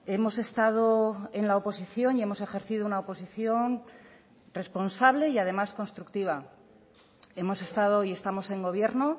hemos estado en la oposición y hemos ejercido una oposición responsable y además constructiva hemos estado y estamos en gobierno